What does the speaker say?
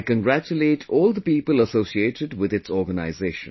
I congratulate all the people associated with its organization